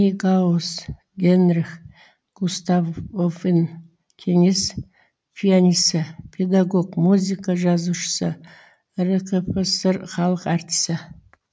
нейгауз генрих густавовин кеңес пианисі педагог музыка жазушысы ркфср халық артисі